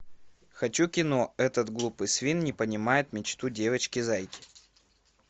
хочу кино этот глупый свин не понимает мечту девочки зайки